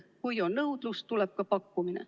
Kui on nõudlust, tuleb ka pakkumine.